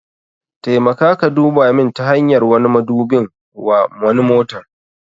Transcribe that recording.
Taimaka ka duba min ta hanyar wani madubin wa wani motar.